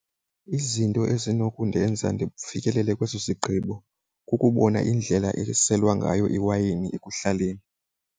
Izinto ezi nokundenza ndifikelele kweso sigqibo kukubona indlela eselwa ngayo iwayini ekuhlaleni.